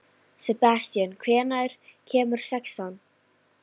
Sebastían, hvenær kemur sexan?